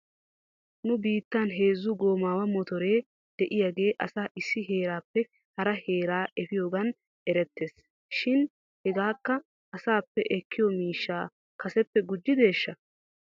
Nu biittan heezu goomaawa motore de'iyaagee asaa issi heeraappe hara heeraa efiyoogan erettes shin hegeekka asaappe ekkiyoo miishshaa kaseppe gujjideeshsha?